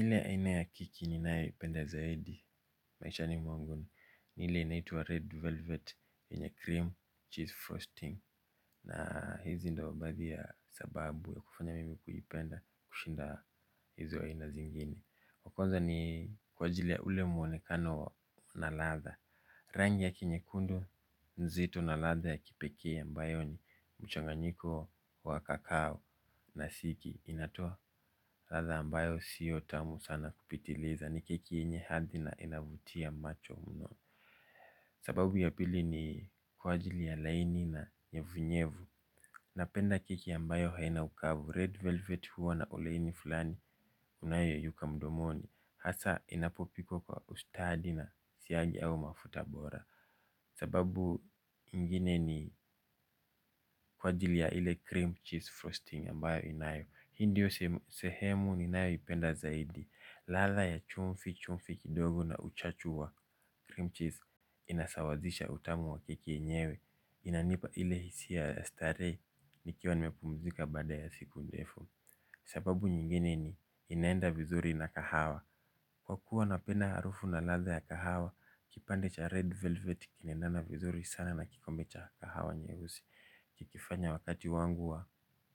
Ile aina ya kiki ninae ipenda zaidi maishani mwangu ni ile inaitua red velvet yenye cream cheese frosting. Na hizi ndo baadhi ya sababu ya kufanya mimi kuipenda kushinda hizo aina zingine. Wakwanza ni kwa jili ya ule mwonekano na latha. Rangi yake nyekundo nzito na latha ya kipekee ambayo ni mchanganyiko wa kakao na siki. Inatoa latha ambayo siyo tamu sana kupitileza ni kiki yenye hadhi na inavutia macho mno. Sababu ya pili ni kwajili ya laini na nyevunyevu. Napenda keki ambayo haina ukavu red velvet huwa na oleini fulani unayo yeyuka mdomoni. Hasa inapopikwa ustadi na siyagi au mafutabora. Sababu ingine ni kwajili ya ile cream cheese frosting ambayo inayo. Hindiyo sehemu ninayo ipenda zaidi. Ladha ya chumfi chumfi kidogo na uchachu wa cream cheese. Inasawazisha utamu wa keki yenyewe. Inanipa ile hisia ya stare nikiwa nimepumzika bada ya siku ndefu. Sababu nyingine ni inenda vizuri na kahawa. Kwa kuwa napenda harufu na latha ya kahawa, kipande cha red velvet kinendana vizuri sana na kikombe cha kahawa nyehusi. Kikifanya wakati wangu wa